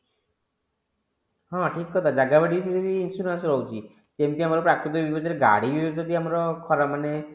ହଁ ଠିକ କଥା ଜାଗା ବାଡି ଉପରେ ବି insurance ରହୁଛି ଯେମିତି ଆମର ପ୍ରାକୃତିକ ବିପର୍ଜ୍ୟରେ ଗାଡି ଯଦି ଆମର ଖରାପ ମାନେ